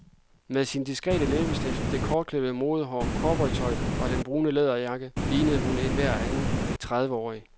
Med sin diskrete læbestift, det kortklippede modehår, cowboytøjet og den brune læderjakke ligner hun enhver anden trediveårig.